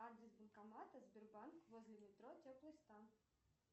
адрес банкомата сбербанк возле метро теплый стан